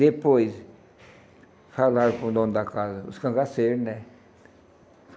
Depois falaram com o dono da casa, os cangaceiros, né?